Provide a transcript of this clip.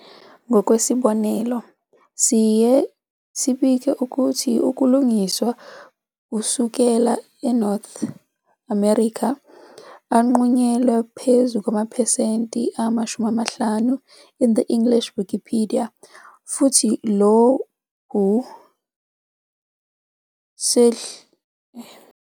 Ngokwesibonelo, siye libike ukuthi ukulungiswa kusukela North America anqunyelwe phezu kwamaphesenti ama-50 in the English Wikipedia futhi lokhu value Sehlile.